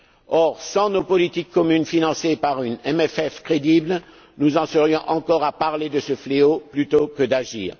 Or, sans nos politiques communes financées par un CFP crédible, nous en serions encore à parler de ce fléau plutôt que d'agir.